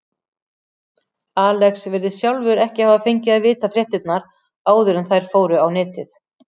Alex virðist sjálfur ekki hafa fengið að vita fréttirnar áður en þær fóru á netið.